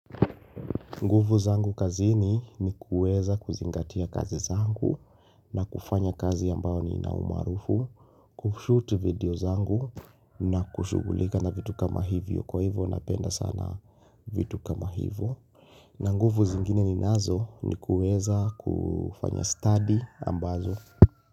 Nguvu zangu kazini ni kuweza kuzingatia kazi zangu na kufanya kazi ambayo ni nina umaarufu Kushoot video zangu na kushugulika na vitu kama hivyo kwa hivyo napenda sana vitu kama hivyo na nguvu zingine ni nazo ni kuweza kufanya study ambazo.